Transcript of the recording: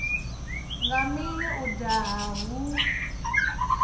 nga mini u daha hu